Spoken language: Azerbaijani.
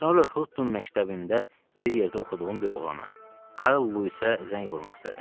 Sonra Hutton məktəbində bir yerdə oxuduğum bir oğlana, Karl Luisə zəng vurmaq istədim.